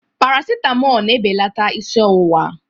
Parasitamọl na-ebelata isi ọwụwa.